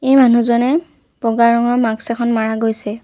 এই মানুহজনে বগা ৰঙৰ মাক্স এখন মাৰা গৈছে।